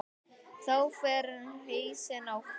Þá fer hausinn á flug.